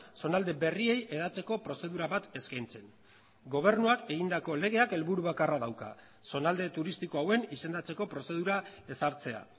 zonalde berriei hedatzeko prozedura bat eskaintzen gobernuak egindako legeak helburu bakarra dauka zonalde turistiko hauen izendatzeko prozedura ezartzea